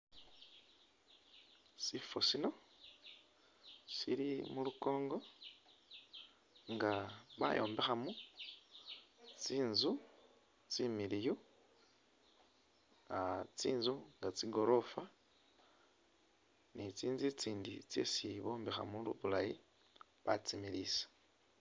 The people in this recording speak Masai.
Sifo sino sili mulukongo nga bayombekhamo tsinzu tsimiliiyu, tsinzu nga tsigorofa ni tsinzu itsindi tsesi bombekhamo bulaayi batsimiliisa,